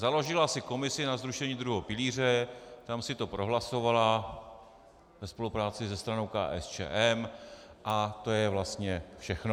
Založila si komisi na zrušení druhého pilíře, tam si to prohlasovala ve spolupráci se stranou KSČM a to je vlastně všechno.